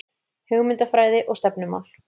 Hugmyndafræði og stefnumál